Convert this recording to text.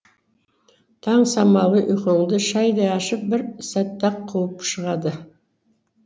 таң самалы ұйқыңды шәйдай ашып бір сәтте ақ қуып шығады